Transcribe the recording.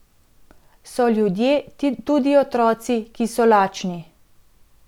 So ljudje, tudi otroci, ki so lačni.